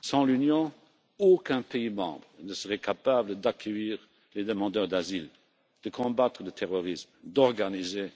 Sans l'Union, aucun État membre ne serait capable d'accueillir les demandeurs d'asile, de combattre le terrorisme, d'organiser